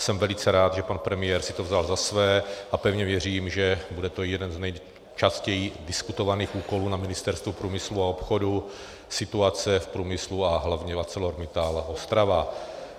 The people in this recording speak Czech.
Jsem velice rád, že pan premiér si to vzal za své, a pevně věřím, že bude to jeden z nejčastěji diskutovaných úkolů na Ministerstvu průmyslu a obchodu - situace v průmyslu a hlavně v ArcelorMittal Ostrava.